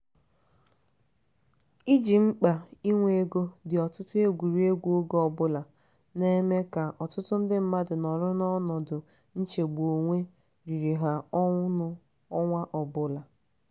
iji mkpa inwe ego dị ọtụtụ egwurị egwu oge ọbụla na-eme ka ọtụtụ ndị mmadụ nọrọ n'ọnọdụ nchegbu onwe riri ha ọnụ ọnwa ọbụla.